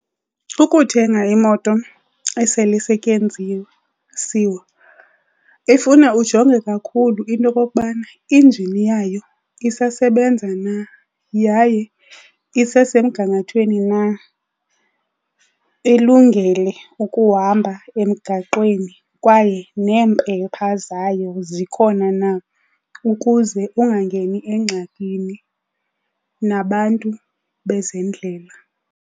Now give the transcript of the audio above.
Ukuthenga imoto esele isetyenziwe ifuna ujonge kakhulu into okokubana injini yayo isasebenza na yaye isesemgangathweni na, ilungele ukuhamba emgaqweni kwaye neempepha zayo zikhona na ukuze ungangeni engxakini nabantu bezendlela.